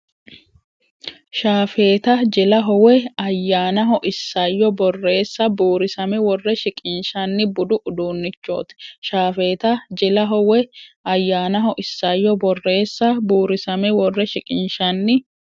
Shaafeeta jilaho woy ayyanaho Isayyo borreessa buurisame worre shiqinshanni budu uduunnichooti Shaafeeta jilaho woy ayyanaho Isayyo borreessa buurisame worre shiqinshanni.